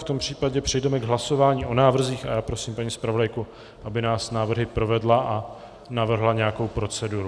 V tom případě přejdeme k hlasování o návrzích a já prosím paní zpravodajku, aby nás návrhy provedla a navrhla nějakou proceduru.